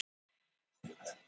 Aurskriða í Flateyjardal